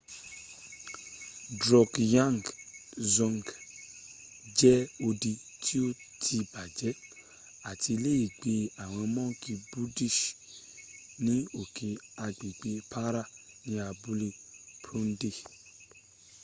drukgyal dzong jẹ́ odi tí ó ti bàjẹ́ àti iléègbé àwọn mọ́ǹkì buddhist ní òkè agbègbè para ní abúlé phondey